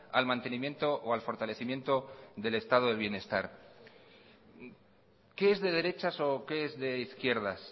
al mantenimiento o al fortalecimiento del estado del bienestar qué es de derechas o qué es de izquierdas